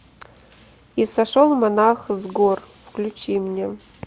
и сошел монах с гор включи мне